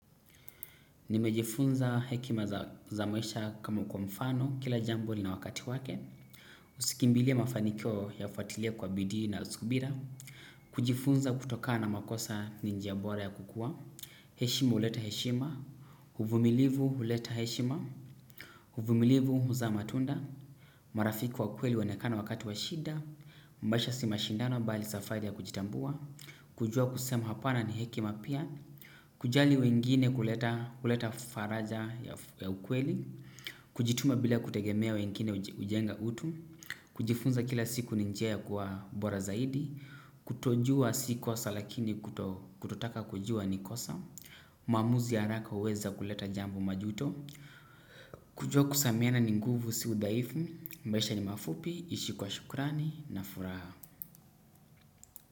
Nimejifunza hekima za maisha kama kwa mfano kila jambo lina wakati wake. Usikimbilie mafanikio yafuatile kwa bidii na subira. Kujifunza kutokana na makosa ni njia bora ya kukua. Heshima uleta heshima. Huvumilivu uleta heshima. Huvumilivu huzaa matunda. Marafiki wa kweli huonekana wakati wa shida. Maisha si mashindano bali safari ya kujitambua. Kujua kusema hapana ni hekima pia. Kujali wengine huleta faraja ya ukweli. Kujituma bila kutegemea wengine ujenga utu. Kujifunza kila siku ni njia ya kuwa bora zaidi. Kutojua si kosa lakini kutotaka kujua ni kosa maamuzi ya araka uweza kuleta jambo au majuto. Kujua kusameana ni nguvu si udhaifu. Maisha ni mafupi, ishi kwa shukurani, na furaha.